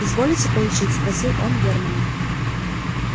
изволите получить спросил он германна